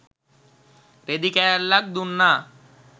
රෙදි කෑල්ලක් දුන්නා.